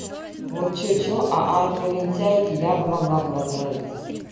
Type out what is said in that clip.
вот что-что а армию лентяев я бы могла бы возглавить